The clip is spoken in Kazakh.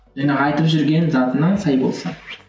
жаңағы айтып жүрген затына сай болса